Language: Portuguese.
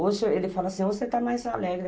Hoje, ele fala assim, hoje você está mais alegre.